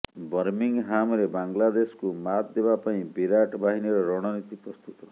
ବର୍ମିଂହାମରେ ବାଂଲାଦେଶକୁ ମାତ୍ ଦେବା ପାଇଁ ବିରାଟ ବାହିନୀର ରଣନୀତି ପ୍ରସ୍ତୁତ